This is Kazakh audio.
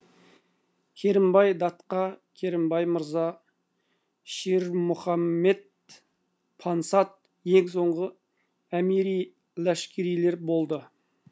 керімбай датқа керімбай мырза ширмұхаммед пансат ең соңғы әмири ләшкерлер болды